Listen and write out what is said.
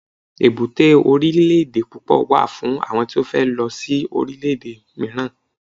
èbúté orilẹ ede púpò wà fún àwọn tí o fe lo si orile ede miiran